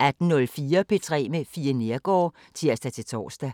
18:04: P3 med Fie Neergaard (tir-tor)